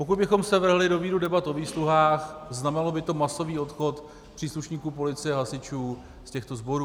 Pokud bychom se vrhli do víru debat o výsluhách, znamenalo by to masový odchod příslušníků policie a hasičů z těchto sborů.